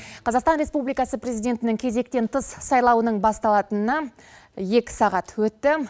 қазақстан республикасы президентінің кезектен тыс сайлауының басталатынына екі сағат өтті